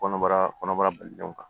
Kɔnɔbara kɔnɔbara balililenw kan